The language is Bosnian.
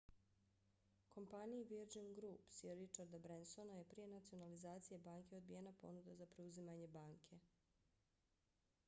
kompaniji virgin group sir richarda bransona je prije nacionalizacije banke odbijena ponuda za preuzimanje banke